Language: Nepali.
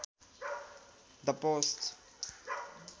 the post